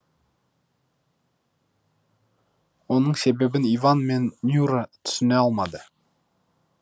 оның себебін иван мен нюра түсіне алмады